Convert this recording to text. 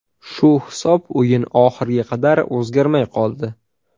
Shu hisob o‘yin oxiriga qadar o‘zgarmay qoldi.